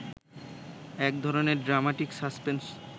একধরনের dramatic suspense